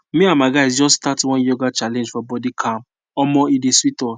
me and my guys just start one yoga challenge for body calm omo e dey sweet us